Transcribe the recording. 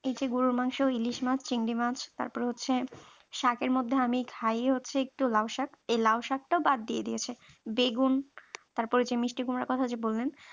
এই যে গরুর মাংস ইলিশ মাছ চিংড়ি মাছ তারপরে হচ্ছে সাকের এর মধ্যে অনেক খায় হচ্ছে একটু লাউ এই লাউ শাক টাও বাদ দিয়ে দিয়েছে বেগুন তারপরে যে মিষ্টি কুমড়া কথা যে বললেন ।